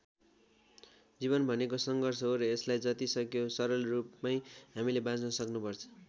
जीवन भनेको सङ्घर्ष हो र यसलाई जति सक्यो सरल रूपमै हामीले बाँच्न सक्नुपर्छ।